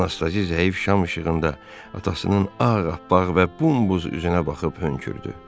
Anastazi zəif şam işığında atasının ağappaq və bumbuz üzünə baxıb hönkürdü.